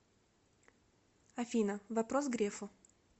афина вопрос грефу